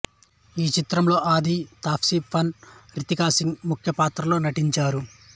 ఈ చిత్రంలో ఆధీ తాప్సీ పన్నూ రితికా సింగ్ ముఖ్య పాత్రల్లో నటించారు